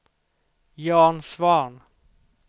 Jan Svahn